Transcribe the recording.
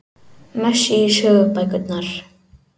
Messi í sögubækurnar